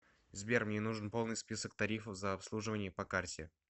сбер мне нужен полный список тарифов за обслуживание по карте